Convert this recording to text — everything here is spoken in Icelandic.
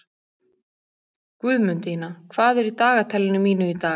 Guðmundína, hvað er í dagatalinu mínu í dag?